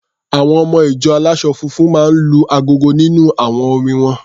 Àwọn ọmọ-ìjọ aláṣọ funfun máa ń lu agogo nínú àwọn orin won.